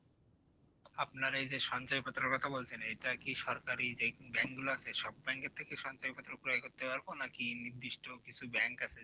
আপনার এই যে সঞ্চয়পত্রের কথা বলছেন কি সরকারি যে bank গুলো হয়েছে সব bank সব bank থেকেই সঞ্চয় পত্র ক্রয় করতে পারব নাকি নির্দিষ্ট কিছু bank আছে